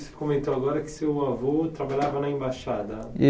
E você comentou agora que seu avô trabalhava na embaixada.